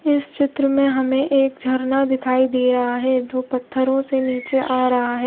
इस चित्र में हमे एक जर्ना दिखाई दे रहा है जो पथरो से निचे आ रहा है।